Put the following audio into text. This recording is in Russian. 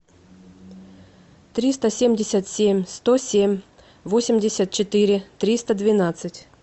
триста семьдесят семь сто семь восемьдесят четыре триста двенадцать